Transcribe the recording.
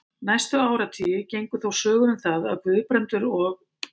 Næstu áratugi gengu þó sögur um það, að Guðbrandur og